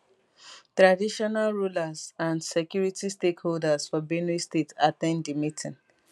traditional rulers and security stakeholders for benue state at ten d di meeting